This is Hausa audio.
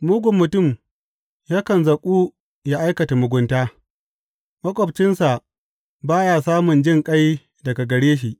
Mugun mutum yakan zaƙu ya aikata mugunta; maƙwabcinsa ba ya samun jinƙai daga gare shi.